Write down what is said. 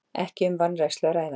Ekki um vanrækslu að ræða